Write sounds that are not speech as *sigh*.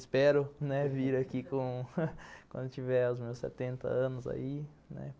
Espero, né, *laughs* vir aqui *laughs* quando tiver os meus setenta anos aí, né?